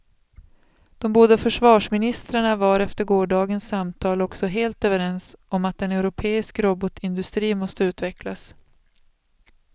De båda försvarsministrarna var efter gårdagens samtal också helt överens om att en europeisk robotindustri måste utvecklas.